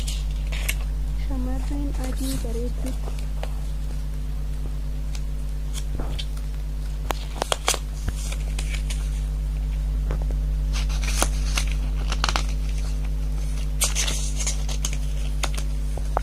Shamarreen adii bareedduun takka harmee ishee wiilcharii irra teessu taphachiisaa jirti. Harmeen wiilcharii irra taa'aa jirtu intala ishee ija keessa ilaalaa seeqaa jirti. Dudduuba isaaniitti mana jireenya fi muka baala magariisaa tokkotu jira.